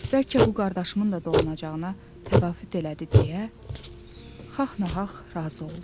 Bəlkə bu qardaşımın da dolanacağına təvafüt elədi deyə xax-naxax razı oldu.